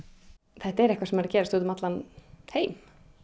þetta er eitthvað sem er að gerast út um allan heim